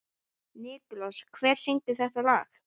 Nikulás, hver syngur þetta lag?